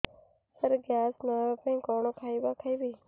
ସାର gas ନ ହେବା ପାଇଁ କଣ ଖାଇବା ଖାଇବି